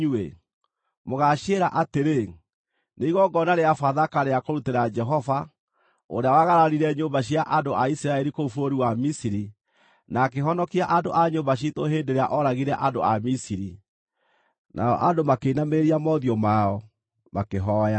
Mũgaaciĩra atĩrĩ, ‘Nĩ igongona rĩa Bathaka rĩa kũrutĩra Jehova, ũrĩa waagararire nyũmba cia andũ a Isiraeli kũu bũrũri wa Misiri, na akĩhonokia andũ a nyũmba ciitũ hĩndĩ ĩrĩa ooragire andũ a Misiri.’ ” Nao andũ makĩinamĩrĩria mothiũ mao, makĩhooya.